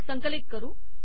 संकलित करू